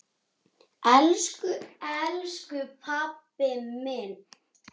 Elsku elsku pabbi minn.